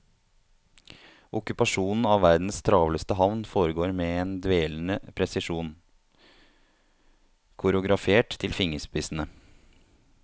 Okkupasjonen av verdens travleste havn foregår med en dvelende presisjon, koreografert til fingerspissene.